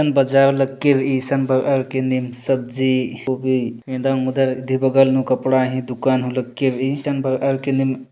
सन बाजायव लक्कीर संभ इ के नेम सब्जी होगी मेधा मुद्रा दे बगल नु कपड़ा ही दुकान उल्ले के री धन भर के री --